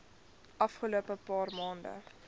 afgelope paar maande